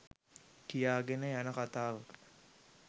කියාගෙන යන කතාවක